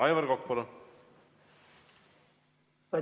Aivar Kokk, palun!